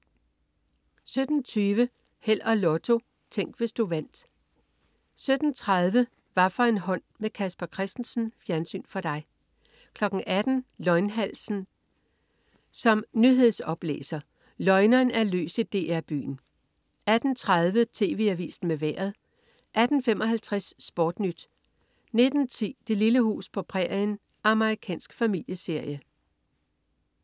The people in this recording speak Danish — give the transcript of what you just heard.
17.20 Held og Lotto. Tænk, hvis du vandt 17.30 Hvaffor en hånd med Casper Christensen. Fjernsyn for dig 18.00 Løgnhalsen som nyhedsoplæser. Løgneren er løs i DR Byen 18.30 TV Avisen med Vejret 18.55 SportNyt 19.10 Det lille hus på prærien. Amerikansk familieserie